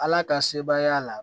Ala ka sebaaya la